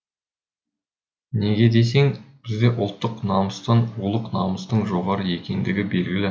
неге десең бізде ұлттық намыстан рулық намыстың жоғары екендігі белгілі